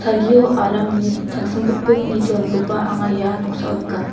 salgio aramni tangsimbitbit nitoanikoba anga ia noksao nika.